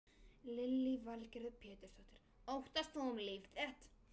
Lillý Valgerður Pétursdóttir: Óttaðist þú um líf þitt?